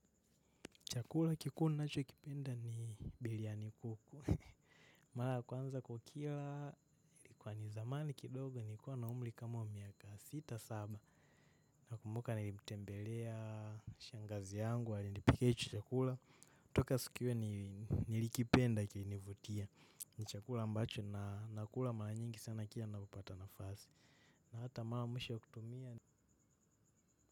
Chakula kikuu ninachokipenda ni biriani kuku. Mara ya kwanza kukila, ilikuwa ni zamani kidogo nilikuwa na umri kama wa miaka sita saba. Nakumbuka nilitembelea, shangazi yangu alinipikia hicho chakula. Toka siku io nilikipenda kilinivutia. Ni chakula ambacho na nakula mara nyingi sana kila ninapopata nafasi. Na hata mara ya mwisho kutumia.